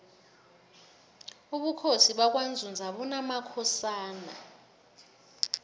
ubukhosi bakwanzunza bunamakhosana